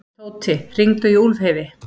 Tóti, hringdu í Úlfheiði.